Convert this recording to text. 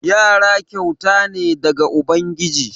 Yara kyauta ne daga ubangiji.